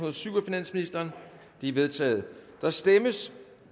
og syv af finansministeren de er vedtaget der stemmes